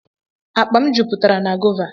Akpa m jupụtara na gova.